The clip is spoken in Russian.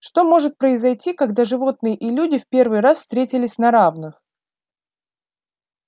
что может произойти когда животные и люди в первый раз встретились на равных